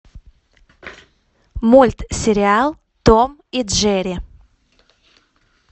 мультсериал том и джерри